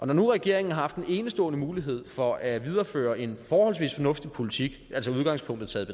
når nu regeringen har haft en enestående mulighed for at videreføre en forholdsvis fornuftig politik altså udgangspunktet taget